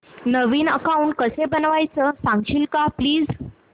नवीन account कसं बनवायचं सांगशील का प्लीज